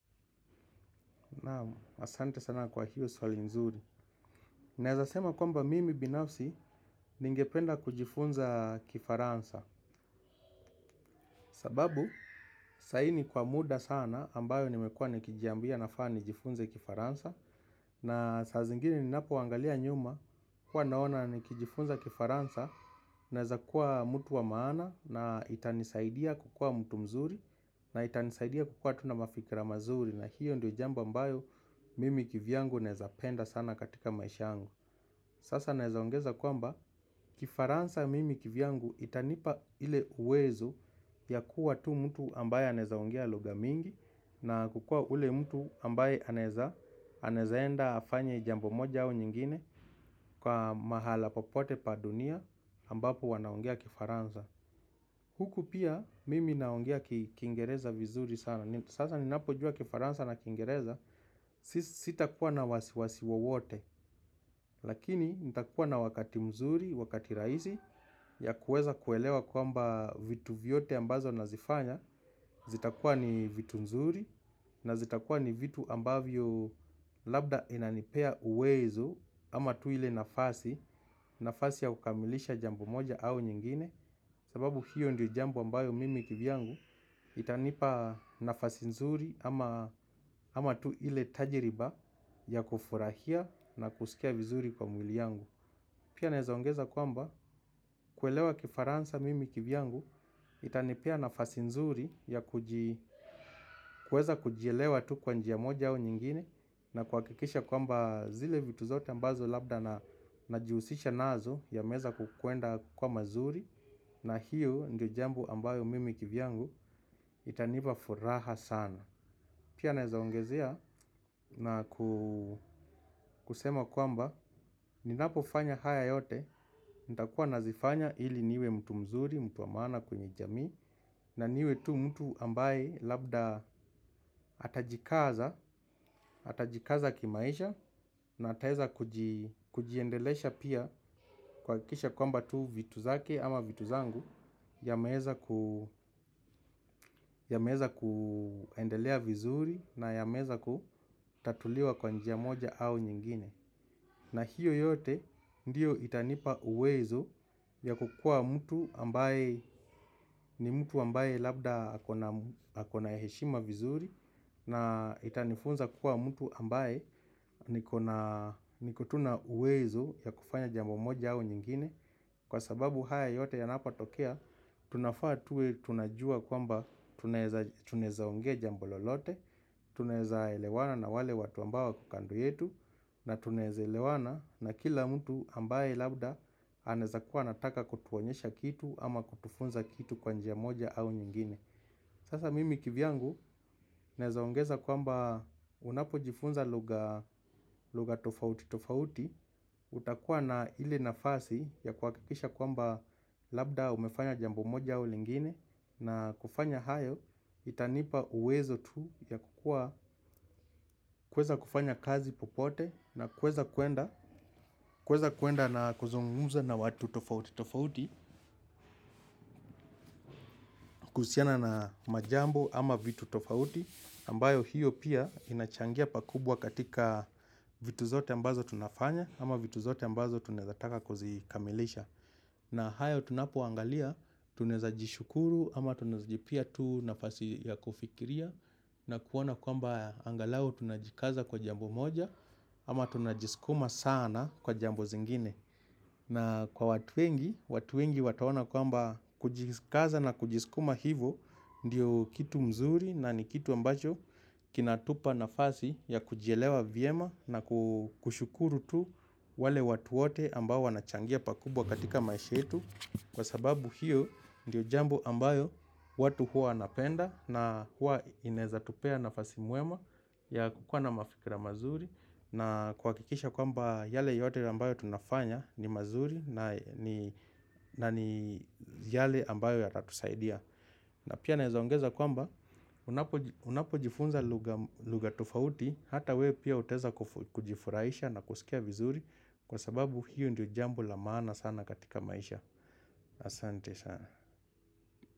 Naam asante sana kwa hiyo swali nzuri. Naeza sema kwamba mimi binafsi ningependa kujifunza kifaransa. Sababu, saa hii ni kwa muda sana ambayo nimekua nikijiambia nafaa ni jifunze kifaransa. Na saa zingine ninapoangalia nyuma huwa naona nikijifunza kifaransa. Naeza kuwa mtu wa maana na itanisaidia kukua mtu mzuri. Na itanisaidia kukua tu na mafikra mazuri. Na hiyo ndiyo jambo ambayo mimi kivyangu naeza penda sana katika maisha yangu. Sasa naezaongeza kwamba kifaransa mimi kivyangu itanipa ile uwezo ya kuwa tu mtu ambaye anezaongea lugha mingi. Na kukua ule mtu ambaye anezaenda afanye jambo moja au nyingine. Kwa mahala popote pa dunia ambapo wanaongea kifaransa huku pia mimi naongea kiingereza vizuri sana. Sasa ninapojua kifaransa na kiingereza. Sisi sitakuwa na wasiwasi wowote. Lakini nitakuwa na wakati mzuri, wakati rahisi ya kuweza kuelewa kwamba vitu vyote ambazo nazifanya zitakuwa ni vitu mzuri. Na zitakuwa ni vitu ambavyo labda inanipea uwezo ama tu ile nafasi nafasi ya kukamilisha jambo moja au nyingine sababu hiyo ndiyo jambo ambayo mimi kivyangu. Itanipa nafasi mzuri ama tu ile tajriba ya kufurahia na kusikia vizuri kwa mwili yangu. Pia naeza ongeza kwamba kuelewa kifaransa mimi kivyangu itanipea nafasi nzuri ya kuweza kujielewa tu kwa njia moja au nyingine. Na kuhakikisha kwamba zile vitu zote ambazo labda na najihusisha nazo yameweza kuenda kuwa mazuri. Na hiyo ndio jambo ambayo mimi kivyangu itanipa furaha sana. Pia naezaongezea na kusema kwamba, ninapofanya haya yote, nitakuwa nazifanya ili niwe mtu mzuri, mtu wa maana kwenye jamii, na niwe tu mtu ambaye labda atajikaza, atajikaza kimaisha, na ataweza kujiendelesha pia kuhakikisha kwamba tu vitu zake ama vitu zangu, yameweza kuendelea vizuri na yameweza kutatuliwa kwa njia moja au nyingine. Na hiyo yote ndiyo itanipa uwezo ya kukua mtu ambaye ni mtu ambaye labda ako na heshima vizuri na itanifunza kukua mtu ambaye niko tu na uwezo ya kufanya jambo moja au nyingine. Kwa sababu haya yote yanapotokea, tunafaa tuwe tunajua kwamba tunaweza ongea jambo lolote, tunaweza elewana na wale watu ambao wako kando yetu. Na tunaweza elewana na kila mtu ambaye labda anawezakuwa anataka kutuonyesha kitu ama kutufunza kitu kwa njia moja au nyingine. Sasa mimi kivyangu naweza ongeza kwamba unapojifunza lugha tofauti tofauti utakuwa na ile nafasi ya kuhakikisha kwamba labda umefanya jambo moja au lingine. Na kufanya hayo itanipa uwezo tu ya kukua kuweza kufanya kazi popote. Na kuweza kuenda na kuzungumza na watu tofauti tofauti kuhusiana na majambo ama vitu tofauti, ambayo hiyo pia inachangia pakubwa katika vitu zote ambazo tunafanya ama vitu zote ambazo tunaweza taka kuzikamilisha. Na hayo tunapoangalia, tunaweza jishukuru ama tunaweza jipea tu nafasi ya kufikiria na kuona kwamba angalau tunajikaza kwa jambo moja ama tunajiskuma sana kwa jambo zingine. Na kwa watu wengi, watu wengi wataona kwamba kujikaza na kujiskuma hivo ndio kitu mzuri na ni kitu ambacho kinatupa nafasi ya kujielewa vyema na kushukuru tu wale watu wote ambao wanachangia pakubwa katika maisha yetu. Kwa sababu hiyo ndio jambo ambayo watu huwa wanapenda na huwa inawezatupea nafasi mwema ya kukua na mafikira mazuri na kwa kikisha kwamba yale yote ambayo tunafanya ni mazuri na ni yale ambayo yatatusaidia. Na pia naeza ongeza kwamba unapojifunza lugha tofauti hata we pia utaweza kujifurahisha na kusikia vizuri kwa sababu hiyo ndio jambu lamana sana katika maisha. Asanti-sana.